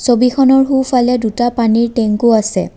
ছবিখনৰ সোঁফালে দুটা পানীৰ টেংকো আছে।